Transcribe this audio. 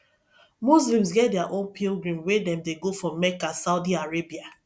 muslims get their own pilgrim wey dem dey go for mecca saudi arabia